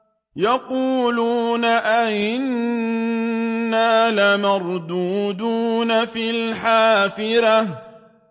يَقُولُونَ أَإِنَّا لَمَرْدُودُونَ فِي الْحَافِرَةِ